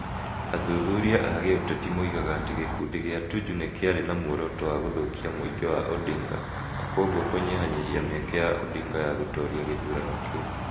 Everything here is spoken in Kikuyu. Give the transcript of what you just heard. Athuthuria a gĩũteti moigaga atĩ gĩkundi kĩa Tuju nĩ kĩarĩ na muoroto wa gũthũkia mũingĩ wa Odinga na kwoguo kũnyihanyihia mĩeke ya Odinga ya gũtoria gĩthurano kĩu.